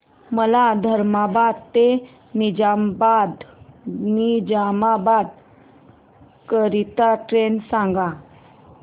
मला धर्माबाद ते निजामाबाद करीता ट्रेन सांगा